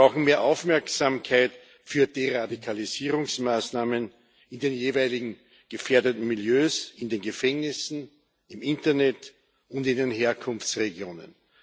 Wir brauchen mehr Aufmerksamkeit für die Radikalisierungsmaßnahmen in den jeweiligen gefährdeten Millieus in den Gefängnissen, im Internet und in den Herkunftsregionen.